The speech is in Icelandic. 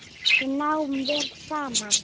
Við náum vel saman.